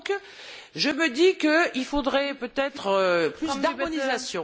Donc, je me dis qu'il faudrait peut être plus d'harmonisation.